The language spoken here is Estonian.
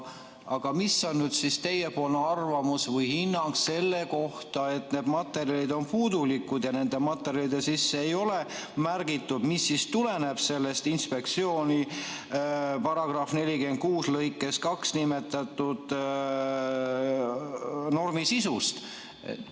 Aga mis on teie arvamus või hinnang selle kohta, et need materjalid on puudulikud ja nendesse materjalidesse ei ole märgitud, mis tuleneb sellest § 46 lõikes 2 sisalduvast normist?